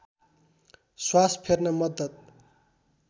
श्वास फेर्न मद्दत